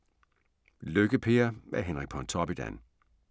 Lykke-Per af Henrik Pontoppidan